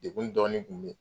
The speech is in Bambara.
Degun dɔɔnin kun be ye.